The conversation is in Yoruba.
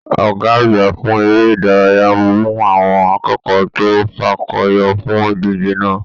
Ọgá àgbà fún eré ìdárayá mu àwọn akẹ́kọ̀ọ́ to fakọyọ fún ìdíje náà.